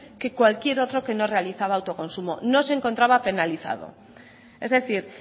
que cualquier otro que no realizaba autoconsumo no se encontraba penalizado es decir